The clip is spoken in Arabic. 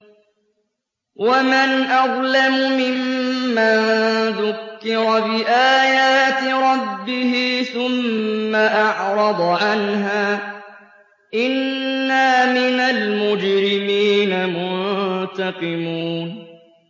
وَمَنْ أَظْلَمُ مِمَّن ذُكِّرَ بِآيَاتِ رَبِّهِ ثُمَّ أَعْرَضَ عَنْهَا ۚ إِنَّا مِنَ الْمُجْرِمِينَ مُنتَقِمُونَ